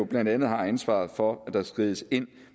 blandt andet har ansvaret for at der skrides ind